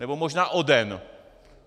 Nebo možná o den.